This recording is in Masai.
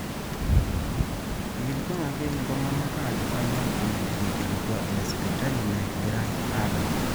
eikilikuanaki iltung'anak ajo kanyoo pee etegelutua ina sipitali nagirai aabakie